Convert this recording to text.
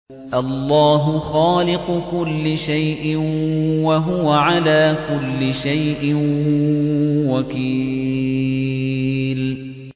اللَّهُ خَالِقُ كُلِّ شَيْءٍ ۖ وَهُوَ عَلَىٰ كُلِّ شَيْءٍ وَكِيلٌ